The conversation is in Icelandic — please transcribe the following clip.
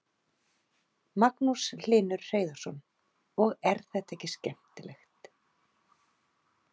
Magnús Hlynur Hreiðarsson: Og er þetta ekki skemmtilegt?